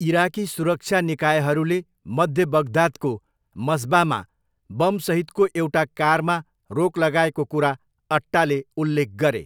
Iraqi सुरक्षा निकायहरूले मध्य बगदादको मस्बामा बम सहितको एउटा कारमा रोक लगाएको कुरा अट्टाले उल्लेख गरे।